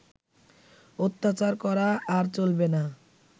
অত্যাচার করা আর চলবে না